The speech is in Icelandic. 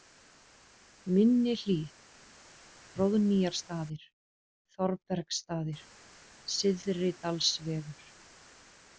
Minni-Hlíð, Hróðnýjarstaðir, Þorbergsstaðir, Syðridalsvegur